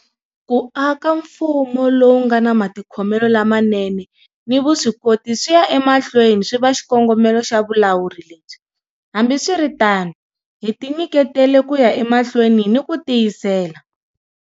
Ku aka mfumo lowu nga na matikhomelo lamanene ni vuswikoti swi ya emahlweni swi va xikongomelo xa vulawuri lebyi. Hambiswiritano hi tinyiketele ku ya emahlweni ni ku tiyisela.